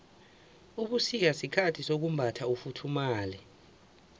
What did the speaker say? ubusika sikhathi sokumbatha ufuthumale